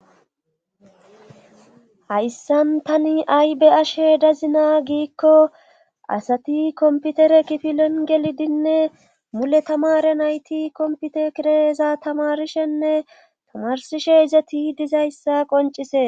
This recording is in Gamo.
hayssan tani aybe'ashe dazina giikko asati komputere kifilen gelidinne mule tamare nayti kompute kireeza tamarishenne tamarsishe izati dizayssa qoncise